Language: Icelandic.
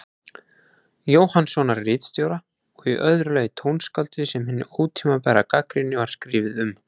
Jóhannssonar ritstjóra, og í öðru lagi tónskáldið sem hin ótímabæra gagnrýni var skrifuð um.